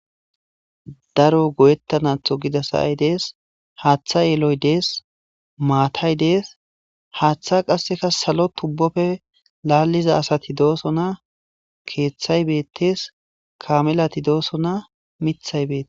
daro goyettanatho gida sayay dees haaththa yeloy dees maatay dees haaththa qasseka salo tubbofe laalliza asati dooso na keeththay beettes kamelati dooso na mithay beete